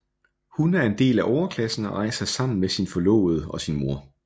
Hun er en del af overklassen og rejser sammen med sin forlovede og sin mor